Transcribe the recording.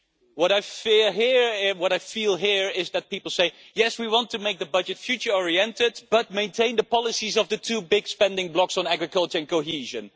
What I feel here is that people are saying yes, we want to make the budget future-oriented but maintain the policies on the two big spending blocks, on agriculture and cohesion.'